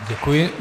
Děkuji.